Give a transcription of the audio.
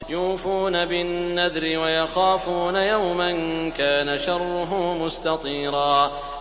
يُوفُونَ بِالنَّذْرِ وَيَخَافُونَ يَوْمًا كَانَ شَرُّهُ مُسْتَطِيرًا